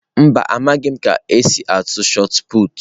Mba, amaghim ka m otu esi atụ shọt pụtụ.